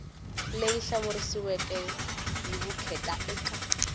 leyi hlamuseriweke hi vukheta eka